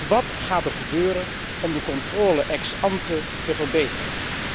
Maar wat gaat er gebeuren om de controle ex ante te verbeteren?